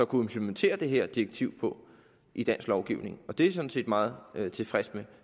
kunne implementere det her direktiv på i dansk lovgivning det er jeg sådan set meget tilfreds med